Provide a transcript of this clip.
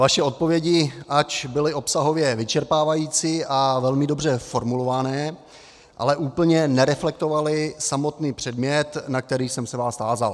Vaše odpovědi, ač byly obsahově vyčerpávající a velmi dobře formulované, ale úplně nereflektovaly samotný předmět, na který jsem se vás tázal.